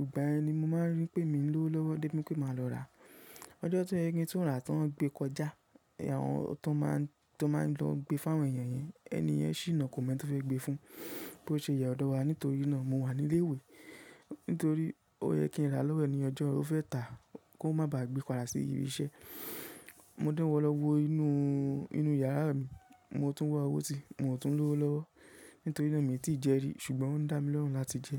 ìgbà ẹni mo máa ń rí pé mi ń lówó lọ́wọ́ dé pé máa lọ rà. Ọjọ́ tó yẹ kí n tó rà tó n gbé kọjá, àwọn tó máa ń lọ gbé fún àwọn èèyàn yẹn, ẹni yẹn ṣí iná kò mọ ẹni tó fẹ́ gbé fun. Bo ṣe yẹ̀ ọ́dọ̀ wa nítorí náà mo wà ní ilé ìwé. Nítorí ó yẹ kí n rà lọ́wọ́ ẹni ọjọ́ o fẹ́ tà kó má ba à gbé padà sí ibi iṣẹ́. Mo dánwò lọ́wọ́ inú, inú yàrá mi, mo tún wá owó ti, mo tún ń lówó lọ́wọ́ nítorí na mi tí ì jẹ rí ṣùgbọ́n o n dá mi lọ́rùn láti jẹ.